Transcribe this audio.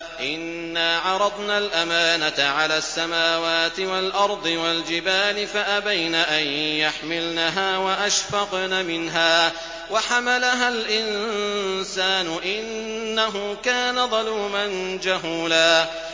إِنَّا عَرَضْنَا الْأَمَانَةَ عَلَى السَّمَاوَاتِ وَالْأَرْضِ وَالْجِبَالِ فَأَبَيْنَ أَن يَحْمِلْنَهَا وَأَشْفَقْنَ مِنْهَا وَحَمَلَهَا الْإِنسَانُ ۖ إِنَّهُ كَانَ ظَلُومًا جَهُولًا